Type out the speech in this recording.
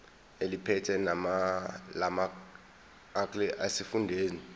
eliphethe lamarcl esifundazwe